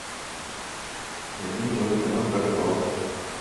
найди мне новый канал про рыбалку